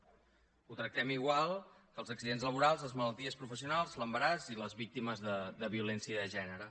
ho tractem igual que els accidents laborals les malalties professionals l’embaràs i les víctimes de violència de gènere